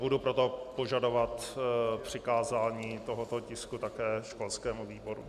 Budu proto požadovat přikázání tohoto tisku také školskému výboru.